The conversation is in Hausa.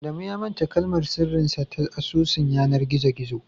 Adamu ya manta kalmar sirrin sa ta asusun yanar gizo gizo